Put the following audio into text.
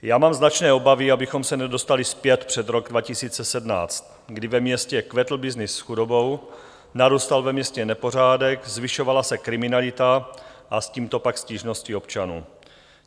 Já mám značné obavy, abychom se nedostali zpět před rok 2017, kdy ve městě kvetl byznys s chudobou, narůstal ve městě nepořádek, zvyšovala se kriminalita a s tímto pak stížnosti občanů.